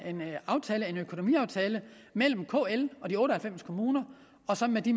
økonomiaftale mellem kl og de otte og halvfems kommuner og så med de